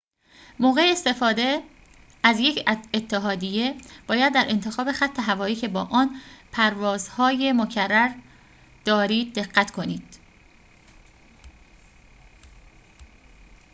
موقع استفاده از یک اتحادیه باید در انتخاب خط هوایی که با آن پروازهای مکرر دارید دقت کنید